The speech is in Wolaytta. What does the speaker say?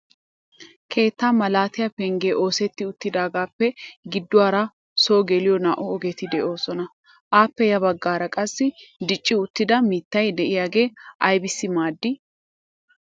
Keetta malatiya pengge oosetti uttidaagappe gidduwaara so geliyo naa"u ogeti de'oosona. Appe ya baggaara qassi dicci uttida mittay de'iyaage aybbissi maaddi?